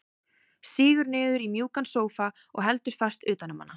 Sígur niður í mjúkan sófa og heldur fast utan um hana.